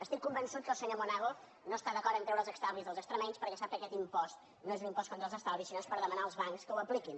estic convençut que el senyor monago no està d’acord a treure els estalvis dels extremenys perquè sap que aquest impost no és un impost contra els estalvis sinó que és per demanar als bancs que ho apliquin